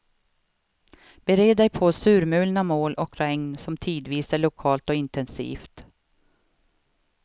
Bered dig på surmulna moln och regn som tidvis är lokalt och intensivt.